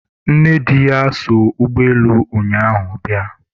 nnedi ya so ụgbọelu ụnyaahụ bịa